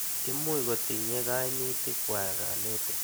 Imuch kotinye kaimitik kwak kanetik.